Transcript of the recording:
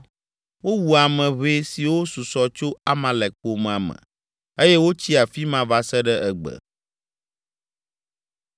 Wowu ame ʋɛe siwo susɔ tso Amalek ƒomea me eye wotsi afi ma va se ɖe egbe.